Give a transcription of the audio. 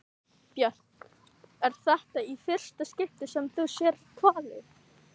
Björn: Er þetta í fyrsta skipti sem þú sérð hvali?